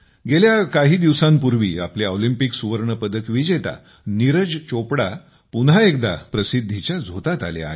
गेल्या काही दिवसांपूर्वी आपले ऑलिंपिक सुवर्ण पदक विजेता नीरज चोपडा पुन्हा एकदा प्रसिद्धीच्या झोतात आले आहेत